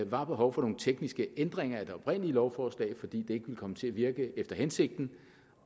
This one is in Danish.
var behov for nogle tekniske ændringer i det oprindelige lovforslag fordi det ikke ville komme til at virke efter hensigten